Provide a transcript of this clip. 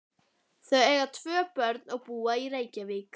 Þau eiga tvö börn og búa í Reykjavík.